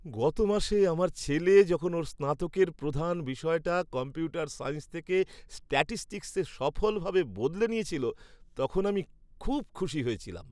গত মাসে আমার ছেলে যখন ওর স্নাতকের প্রধান বিষয়টা কম্পিউটার সায়েন্স থেকে স্ট্যাটিসটিক্সে সফলভাবে বদলে নিয়েছিল, তখন আমি খুব খুশি হয়েছিলাম।